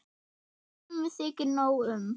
Sumum þykir nóg um.